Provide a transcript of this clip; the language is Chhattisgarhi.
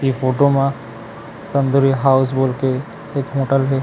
इ फोटो म तंदूरी हाउस बोल के एक होटल हे।